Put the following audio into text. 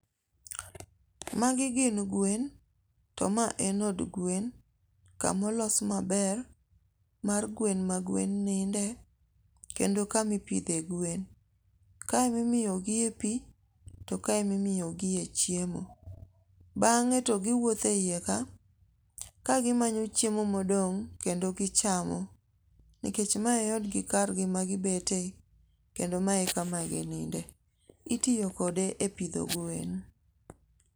Magi gin gwen, to ma en od gwen, kamolos maber, mar gwen ma gwen ninde, kendo kama ipidhe gwen. Kae ema imiyo gi e pi, to kae emi miyogie chiemo. Bang’e to giwuothe iye ka, kagi manyo chiemo modong’ kendo gichamo, nikech mae e odgi kargi magibete kendo mae e kama gi ninde. Itiyo kode e pidho gwen.